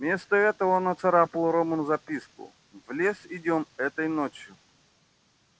вместо этого он нацарапал рону записку в лес идём этой ночью